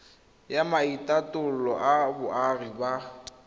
ya maitatolo a boagi ba